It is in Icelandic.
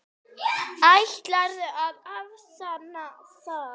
Ætlarðu að afsanna það?